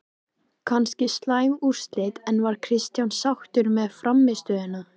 Kannski slæm úrslit, en var Kristján sáttur með frammistöðuna?